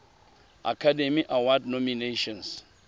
academy award nominations